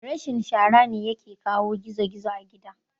Rashin shara ne yake kawo gizo gizo a gida